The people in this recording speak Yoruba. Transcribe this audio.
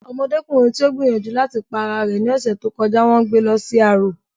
Ọmọdékùnrin tí ó gbìyànjú láti pa ara rẹ̀ ní ọ̀sẹ̀ tí ó kọjá n wón gbé lọ sí arò